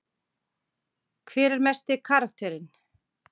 Hver er mesti karakterinn?